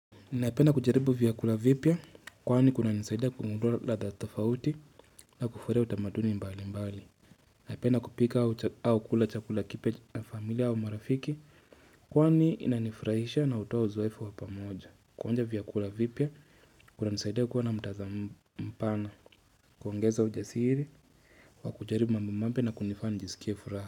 Naipenda kujaribu vyakula vipya kwaani kuna nisaida kumudua la tafauti na kufurea utamaduni mbali mbali. Naipenda kupika au kula chakula kipe na familia au marafiki kwaani inanifrahisha na utoa uzwaifa wapamoja. Kuanja vyakula vipya kuna nisaida kuwa na mtazambana kuangeza ujasiri wa kujaribu mambi mambi na kunifanijisikia furaha.